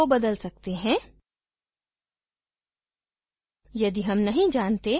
हम मौजूदा password को बदल सकते हैं